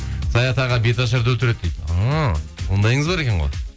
саят аға беташарды өлтіреді дейді ыыы ондайыңыз бар екен ғой